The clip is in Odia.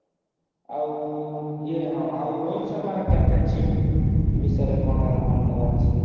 ଆଉ ଇଏ ହଁ ଆଉ ରୋହିତ ଶର୍ମାର captain ship ବିଷୟରେ କଣ ଆଉ କଣ କହିବାର ଅଛି?